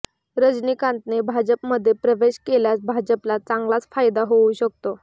रजनीकांतने भाजपमध्ये प्रवेश केल्यास भाजपला चांगलाच फायदा होऊ शकतो